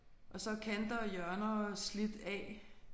Og så er kanter og hjørner slidt af